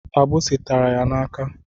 Agbisi tara ya n'aka.